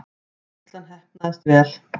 Veislan heppnaðist vel.